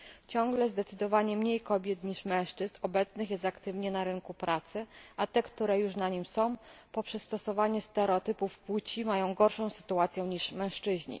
Ciągle zdecydowanie mniej kobiet niż mężczyzn obecnych jest aktywnie na rynku pracy, a te, które już na nim są, poprzez stosowanie stereotypów płci mają gorszą sytuację niż mężczyźni.